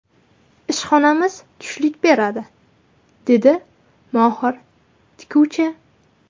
Ishxonamiz tushlik beradi”, dedi mohir tikuvchi.